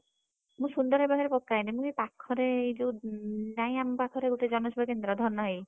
ମୁଁ ସୁନ୍ଦର ଭାଇ ପାଖରେ ପକାଏନି ମୁଁ ଏଇ ପାଖରେ ଏ ଯଉ ନାଇଁ ଆମ ପାଖରେ ଗୋଟେ ଜନ ସେବା କେନ୍ଦ୍ର ଧନ ଭାଇ,